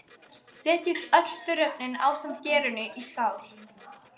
Setjið öll þurrefnin ásamt gerinu í skál.